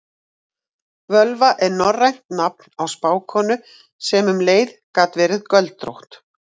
völva er norrænt nafn á spákonu sem um leið gat verið göldrótt